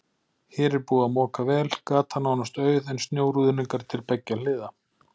Hér er búið að moka vel, gatan nánast auð en snjóruðningar til beggja hliða.